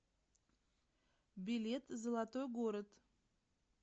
билет золотой город